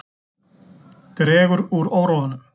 Dregur úr óróanum